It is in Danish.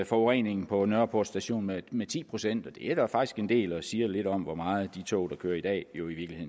forureningen på nørreport station med med ti procent det er da faktisk en del og siger lidt om hvor meget de tog der kører i dag jo i